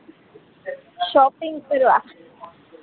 shopping કરવા